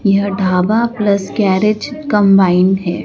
यह dhaba plus garage combine हैं।